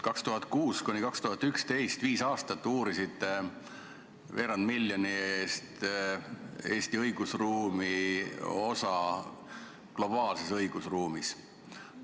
2006–2011, viis aastat, uurisite veerand miljoni eest Eesti õigusruumi osa globaalses õigusruumis.